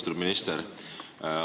Austatud minister!